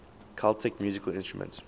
celtic musical instruments